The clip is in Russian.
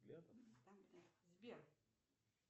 сбер